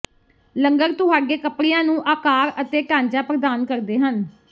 ਲੰਗਰ ਤੁਹਾਡੇ ਕੱਪੜਿਆਂ ਨੂੰ ਆਕਾਰ ਅਤੇ ਢਾਂਚਾ ਪ੍ਰਦਾਨ ਕਰਦੇ ਹਨ